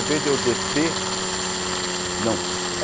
Em vez de eu descer... Não.